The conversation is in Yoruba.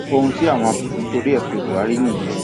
ohun tí àwọn asòfin torí ẹ pe buhari nìyẹn